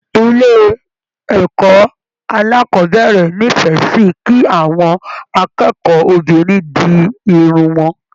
Ilé ẹkọ alákọ̀bẹ̀rẹ̀ n'ifẹ sí kí àwọn akẹ́kọ̀ọ́-binrin di Irun wọn.